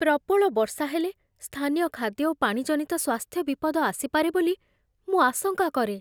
ପ୍ରବଳ ବର୍ଷା ହେଲେ, ସ୍ଥାନୀୟ ଖାଦ୍ୟ ଓ ପାଣି ଜନିତ ସ୍ୱାସ୍ଥ୍ୟ ବିପଦ ଆସିପାରେ ବୋଲି ମୁଁ ଆଶଙ୍କା କରେ।